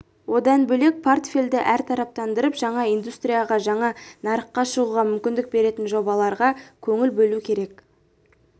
одан бөлек портфельді әртараптандырып жаңа индустрияға жаңа нарыққа шығуға мүмкіндік беретін жобаларға көңіл бөлу керек